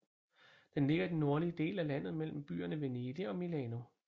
Den ligger i den nordlige del af landet mellem byerne Venedig og Milano